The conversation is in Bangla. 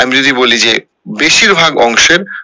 আমি যদি বলি যে বেশির ভাগ অংশের